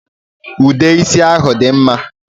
Ude isi ahụ dị mma